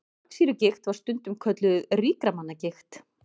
Þvagsýrugigt var stundum kölluð ríkra manna gigt.